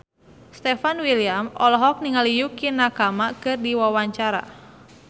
Stefan William olohok ningali Yukie Nakama keur diwawancara